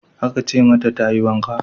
Aka ce mata ta yi wanka.